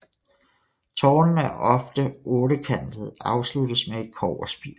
Tårnene er ofte ottekantede og afsluttes med et kobberspir